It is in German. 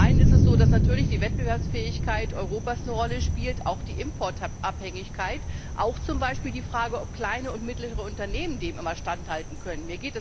Zum einen ist es so, dass natürlich die Wettbewerbsfähigkeit Europas eine Rolle spielt, auch die Importabhängigkeit, auch zum Beispiel die Frage, ob kleine und mittlere Unternehmen dem immer standhalten können.